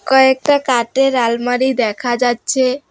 কয়েকটা কাঠের আলমারি দেখা যাচ্ছে।